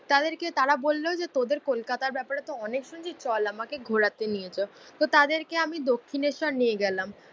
তাদেরকে তারা বললো যে তোদের কলকাতার ব্যাপারেতো অনেক শুনেছি চল আমাকে ঘোরাতে নিয়ে চল। তো তাদেরক আমি দক্ষিনেশ্বর নিয়ে গেলাম।